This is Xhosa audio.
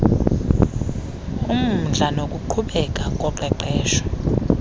umdla nokuqhubeka koqeqesho